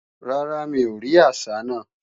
Rárá, mi ò rí àsá náà